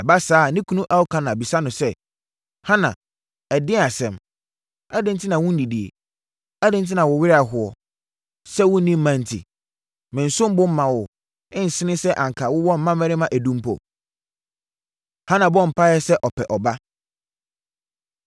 Ɛba saa a, ne kunu Elkana bisa no sɛ, “Hana, ɛdeɛn asɛm? Adɛn enti na wonnidie? Adɛn enti na wo werɛ ahoɔ, sɛ wonni mma nti? Mensom bo mma wo, nsen sɛ anka wowɔ mmammarima edu mpo?” Hana Bɔ Mpaeɛ Sɛ Ɔpɛ Ɔba